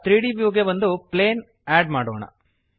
ಈಗ 3ದ್ ವ್ಯೂಗೆ ಒಂದು ಪ್ಲೇನ್ ಅಡ್ ಮಾಡೋಣ